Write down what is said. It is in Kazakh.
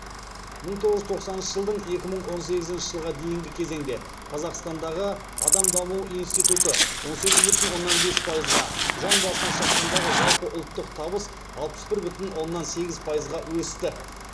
мың тоғыз жүз тоқсаныншы жылдан екі мың он сегізінші жылға дейінгі кезеңде қазақстандағы адам даму институты он сегіз бүтін оннан бес пайызға жан басына шаққандағы жалпы ұлттық табыс алпыс бір бүтін оннан сегіз пайызға өсті